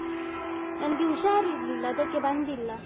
ನನ್ಗೆ ಹುಷಾರಿರ್ಲಿಲ್ಲ ಅದಕ್ಕೆ ಬಂದಿಲ್ಲ.